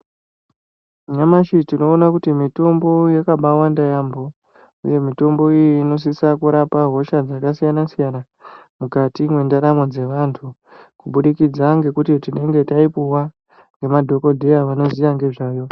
Nyamashi tinoona kuti mitombo yakabawanda yambo uye mitombo iyi inosisa kurapa hosha dzakasiyana mukati mwendaramo dzevantu kubudikidza kuti ngekuti tinenge tayipuwa ngemadhokodheya vanoziva ngezvayo.